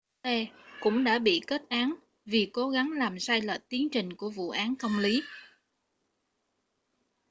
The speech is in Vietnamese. blake cũng đã bị kết án vì cố gắng làm sai lệch tiến trình của vụ án công lý